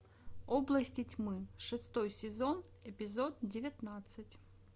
области тьмы шестой сезон эпизод девятнадцать